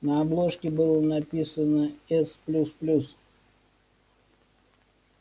на обложке было написано с плюс плюс